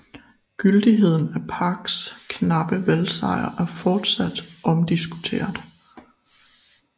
Gyldigheden af Parks knappe valgsejr er fortsat omdiskuteret